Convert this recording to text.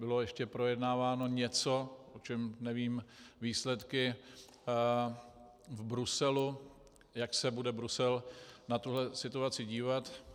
Bylo ještě projednáváno něco, o čem nevím, výsledky v Bruselu, jak se bude Brusel na tuhle situaci dívat.